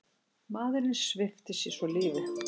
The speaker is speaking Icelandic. Maðurinn svipti sig svo lífi.